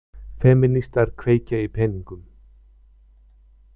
Femínistar kveikja í peningum